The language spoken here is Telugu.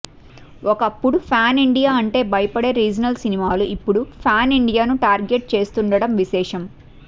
ఒకప్పుడు ప్యాన్ ఇండియా అంటే భయపడే రీజినల్ సినిమాలు ఇప్పుడు ప్యాన్ ఇండియాను టార్గెట్ చేస్తుండడం విశేషం